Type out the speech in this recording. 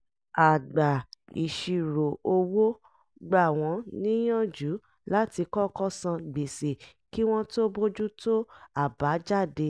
agbà-ìṣirò owó gbà wọ́n níyànjú láti kọ́kọ́ san gbèsè kí wọ́n tó bójú tó àbájáde